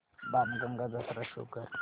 बाणगंगा जत्रा शो कर